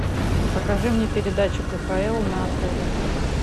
покажи мне передачу кхл на тв